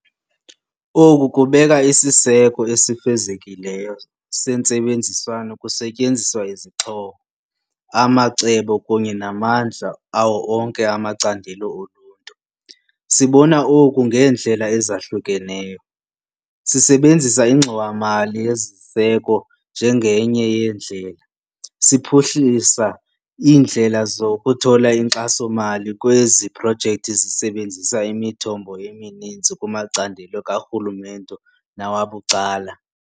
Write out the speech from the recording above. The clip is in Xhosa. Oku kubeka isiseko esifezekileyo sentsebenziswano kusetyenziswa izixhobo, amacebo kunye namandla awo onke amacandelo oluntu. Sibona oku ngeendlela ezahlukeneyo. Sisebenzisa iNgxowa-mali yeZiseko njengenye yendlela, siphuhlisa iindlela zokuthola inkxaso-mali kwezi projekthi sisebenzisa imithombo emininzi kumacandelo karhulumente nawabucala.